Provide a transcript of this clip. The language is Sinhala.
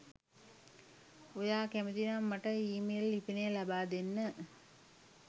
ඔයා කැමති නම් මට ඊමේල් ලිපිනය ලබාදෙන්න